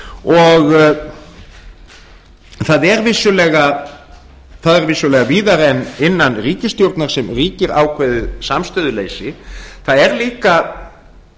og það er vissulega víðar en innan ríkisstjórnar sem ríkir ákveðið samstöðuleysi það er líka